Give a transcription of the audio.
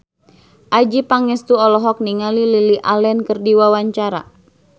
Adjie Pangestu olohok ningali Lily Allen keur diwawancara